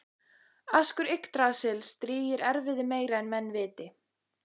Askur Yggdrasils drýgir erfiði meira en menn viti